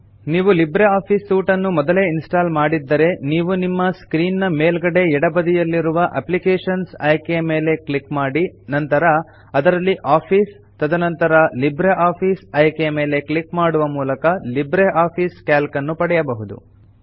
ನೀವು LibreOffice suite ಅನ್ನು ಮೊದಲೇ ಇನ್ಸ್ಟಾಲ್ ಮಾಡಿದ್ದರೆನೀವು ನಿಮ್ಮ ಸ್ಕ್ರೀನ್ ನ ಮೇಲ್ಗಡೆ ಎಡ ಬದಿಯಲ್ಲಿ ಇರುವ ಅಪ್ಲಿಕೇಶನ್ಸ್ ಆಯ್ಕೆಯ ಮೇಲೆ ಕ್ಲಿಕ್ ಮಾಡಿ ನಂತರ ಅದರಲ್ಲಿ ಆಫೀಸ್ ತದನಂತರ ಲಿಬ್ರಿಆಫಿಸ್ ಆಯ್ಕೆಯ ಮೇಲೆ ಕ್ಲಿಕ್ ಮಾಡುವ ಮೂಲಕ ಲಿಬ್ರೆ ಆಫೀಸ್ ಕ್ಯಾಲ್ಕ್ ನ್ನು ಪಡೆಯಬಹುದು